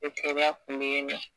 O teriya kun be yen nɔ